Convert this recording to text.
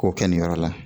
K'o kɛ nin yɔrɔ la